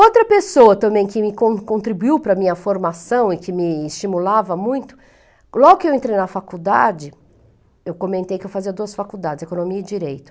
Outra pessoa também que me con contribuiu para a minha formação e que me estimulava muito, logo que eu entrei na faculdade, eu comentei que eu fazia duas faculdades, economia e direito.